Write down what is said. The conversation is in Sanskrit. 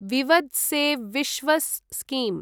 विवद् से विश्वस् स्कीम्